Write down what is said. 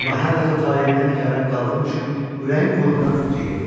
Amma hər dəfə taleyimdən nigaran qaldığım üçün ürəyim qorxudan titrəyirdi.